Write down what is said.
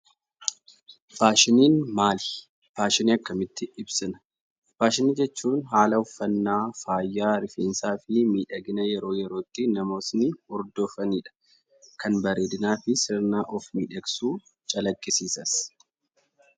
Faashiniin maali? Faashinii akkamitti ibsina? Faashinii jechuun; haala uffaannaa faaya, rifeensafi miidhagina yeroo yerootti namootni hordoofanidha. Kan bareedinafi sirna of midheksuu calaqisisaan.